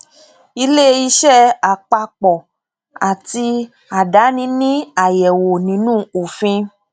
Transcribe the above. ilé iṣẹ àpapọ àti àdáni ní àyẹwò nínú òfin